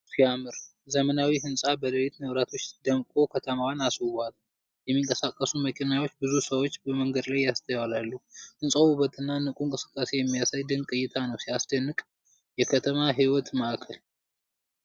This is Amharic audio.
ዋው ሲያምር! ዘመናዊው ህንፃ በሌሊት መብራቶች ደምቆ ከተማዋን አስውቧል። የሚንቀሳቀሱ መኪናዎችና ብዙ ሰዎች በመንገድ ላይ ይስተዋላሉ። ህንፃው ውበትንና ንቁ እንቅስቃሴን የሚያሳይ ድንቅ እይታ ነው። ሲያስደንቅ! የከተማ ህይወት ማዕከል!